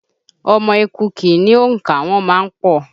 Ọmọ eku kìí ní òǹkà, wọ́n má ń pọ̀